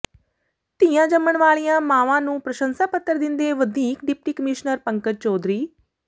ਧੀਆਂ ਜੰਮਣ ਵਾਲੀਆਂ ਮਾਵਾਂ ਨੂੰ ਪ੍ਰਸੰਸਾ ਪੱਤਰ ਦਿੰਦੇ ਵਧੀਕ ਡਿਪਟੀ ਕਮਿਸ਼ਨਰ ਪੰਕਜ ਚੌਧਰੀ